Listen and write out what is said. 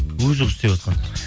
өзі ғой істеватқан